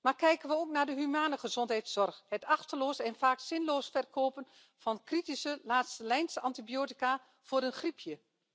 Maar kijken we ook naar de menselijke gezondheidszorg het achteloos en vaak zinloos verkopen van kritische laatstelijnsantibiotica voor een griepje!